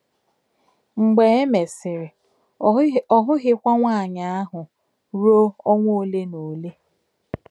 Mgbe e mesịrị, ọ hụghịkwa nwaanyị ahụ ruo ọnwa ole na ole.,